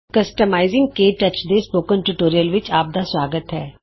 customising K touch ਦੇ spoken ਵਿਚ ਆਪਦਾ ਸੁਆਗਤ ਹੈ